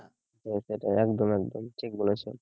হ্যাঁ সেটাই একদম একদম ঠিক বলেছ